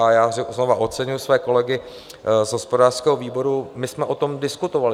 A já znova oceňuji své kolegy z hospodářského výboru, my jsme o tom diskutovali.